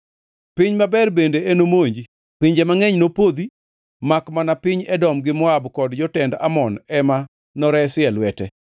Piny maber bende enomonji. Pinje mangʼeny nopodhi, makmana piny Edom gi Moab kod jotend Amon ema noresi e lwete.